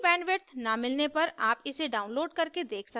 अच्छी bandwidth न मिलने पर आप इसे download करके देख सकते हैं